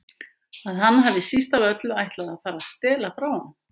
Að hann hafi síst af öllu ætlað að fara að stela frá honum.